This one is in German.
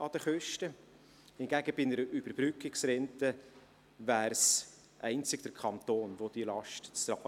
Hingegen hätte bei einer Überbrückungsrente einzig der Kanton diese Last zu tragen.